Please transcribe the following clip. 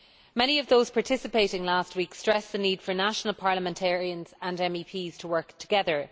Many of those participating last week stressed the need for national parliamentarians and MEPs to work together.